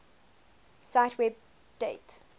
cite web date